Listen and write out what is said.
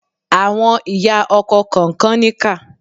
Àwọn ìyá ọkọ kànkan níkà.